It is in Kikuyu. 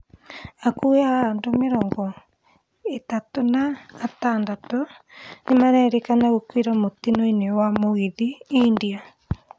Hakuhĩ andũ mĩrongo ĩtatũ na atandatũ nĩmarerĩkana gũkuĩra mũtino-inĩ wa mũgithi India